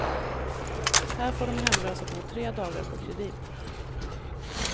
Här får de hemlösa bo tre dagar på kredit.